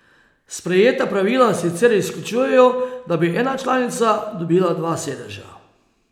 Sprejeta pravila sicer izključujejo, da bi ena članica dobila oba sedeža.